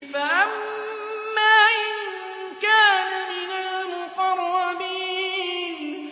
فَأَمَّا إِن كَانَ مِنَ الْمُقَرَّبِينَ